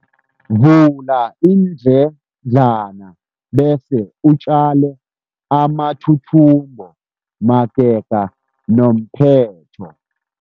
Vula iindledlana bese utjale amathuthumbo magega nomphetho.